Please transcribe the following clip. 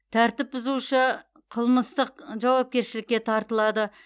тәртіп бұзушы қылмыстық жауапкершілікке тартылады